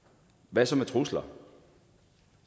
hvad så med trusler